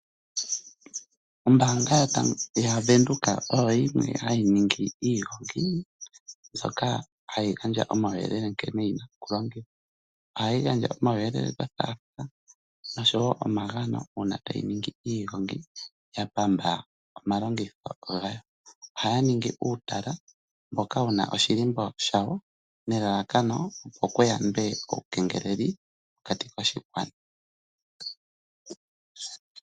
Ombaanga yaVenduka oyo yimwe hayi ningi iigongi mbyoka hayi gandja omauyelele nkene yi na okulongithwa. Ohayi gandja omauyelele gothaathaa noshowo omagano, uuna tayi ningi iigongi ya pamba omalongitho gayo. Ohaya ningi uutala mboka wu na oshilimbo shawo, nelalakano opo ku yandwe uukengeleli mokati koshigwana.